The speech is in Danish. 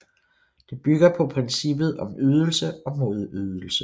Det bygger på princippet om ydelse og modydelse